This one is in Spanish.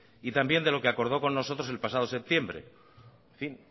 y también de lo que acordó con nosotros el pasado septiembre en fin